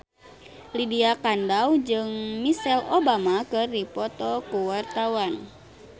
Lydia Kandou jeung Michelle Obama keur dipoto ku wartawan